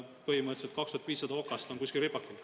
Põhimõtteliselt on 2500 okast kuskil ripakil.